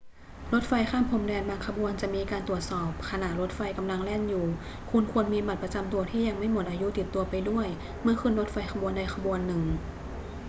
รถไฟข้ามพรมแดนบางขบวนจะมีการตรวจสอบขณะรถไฟกำลังแล่นอยู่ คุณควรมีบัตรประจำตัวที่ยังไม่หมดอายุติดตัวไปด้วยเมื่อขึ้นรถไฟขบวนใดขบวนหนึ่ง